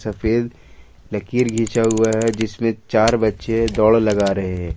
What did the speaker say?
सफेद लकीर खींचा हुआ है जिसमें चार बच्चे दौड़ लगा रहे है।